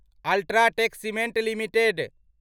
UltraTech cement limited